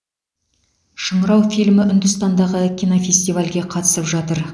шыңырау фильмі үндістандағы кинофестивальге қатысып жатыр